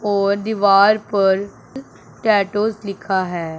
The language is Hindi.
और दीवार पर टैटू लिखा है।